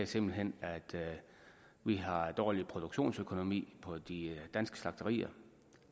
simpelt hen er at vi har en dårlig produktionsøkonomi på de danske slagterier